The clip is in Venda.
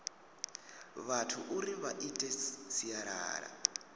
vhathu uri vha ite sialala